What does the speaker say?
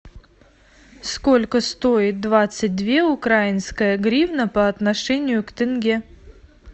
сколько стоит двадцать две украинская гривна по отношению к тенге